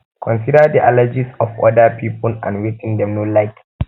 consider di allergies of oda pipo and wetin dem no like